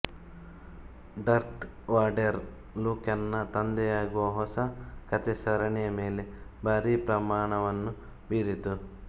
dearth Vader ಲ್ಯೂಕನ ತಂದೆಯಾಗುವ ಹೊಸ ಕಥೆ ಸರಣಿಯ ಮೇಲೆ ಭಾರಿ ಪರಿಣಾಮವನ್ನು ಬೀರಿತು